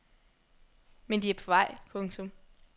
Men de er på vej. punktum